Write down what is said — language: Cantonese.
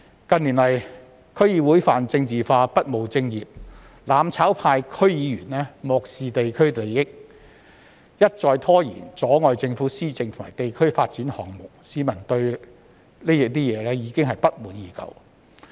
近年來，區議會泛政治化、不務正業，"攬炒派"區議員漠視地區利益，一再拖延、阻礙政府施政和地區發展項目，市民對此不滿已久。